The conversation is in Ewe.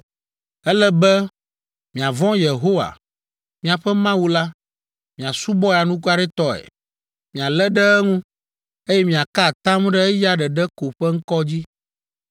Ele be miavɔ̃ Yehowa, miaƒe Mawu la, miasubɔe anukwaretɔe, mialé ɖe eŋu, eye miaka atam ɖe eya ɖeɖe ko ƒe ŋkɔ dzi.